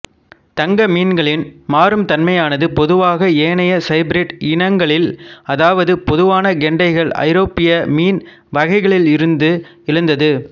தங்க மீன்களின் மாறும் தன்மையானது பொதுவாக ஏனைய சைபிரிட் இனங்களில் அதாவது பொதுவான கெண்டைகள் ஐரோப்பிய மீன் வகைகளிலிருந்து எழுந்தது